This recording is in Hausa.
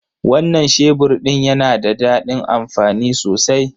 Wannan shebur din yana da dadin amfani sosai.